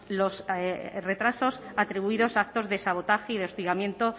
los retrasos atribuidos a actos de sabotaje y de hostigamiento